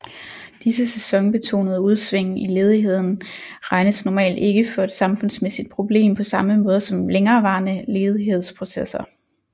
Disse sæsonbetonede udsving i ledigheden regnes normalt ikke for et samfundsmæssigt problem på samme måde som længerevarende ledighedsperioder